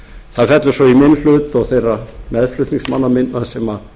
það fellur svo í minn hlut og þeirra meðflutningsmanna minna sem